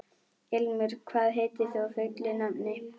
Ilmur, hvað heitir þú fullu nafni?